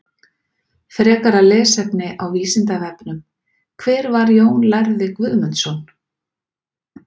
Frekara lesefni á Vísindavefnum: Hver var Jón lærði Guðmundsson?